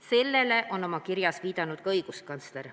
Sellele on oma kirjas viidanud ka õiguskantsler.